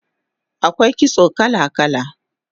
Akwai kitso kala kala